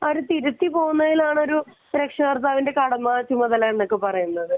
അവരെ തിരുത്തി മനസ്സിലാക്കി പോവുക എന്നതാണ് ഒരു രക്ഷിതാവിന്റെ കടമ ചുമതല എന്നൊക്കെ പറയുന്നത്